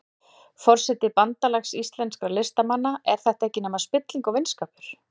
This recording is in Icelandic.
Forseti Bandalags íslenskra listamanna, er þetta ekkert nema spilling og vinskapur?